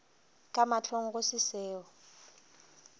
ka mahlong go se seo